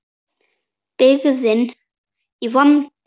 Byggðin í vanda.